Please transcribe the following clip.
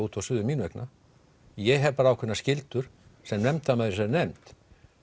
út og suður mín vegna ég hef bara ákveðnar skyldur sem nefndarmaður í þessari nefnd